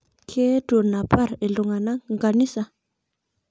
Keetuo anapar ltungana nkanisa